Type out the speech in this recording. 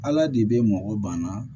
Ala de bɛ mɔgɔ banna